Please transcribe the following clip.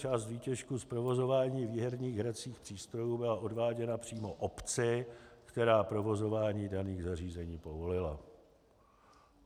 Část výtěžku z provozování výherních hracích přístrojů byla odváděna přímo obci, která provozování daných zařízení povolila.